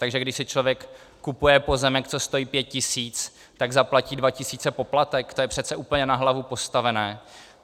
Takže když si člověk kupuje pozemek, co stojí pět tisíc, tak zaplatí dva tisíce poplatek, to je přece úplně na hlavu postavené.